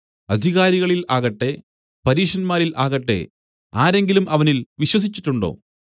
അധികാരികളിൽ ആകട്ടെ പരീശന്മാരിൽ ആകട്ടെ ആരെങ്കിലും അവനിൽ വിശ്വസിച്ചിട്ടുണ്ടോ